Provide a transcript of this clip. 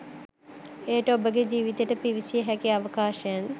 එයට ඔබගේ ජීවිතයට පිවිසිය හැකි අවකාශයන්